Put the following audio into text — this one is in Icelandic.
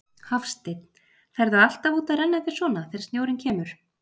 Hafsteinn: Ferðu alltaf út að renna þér svona, þegar snjórinn kemur?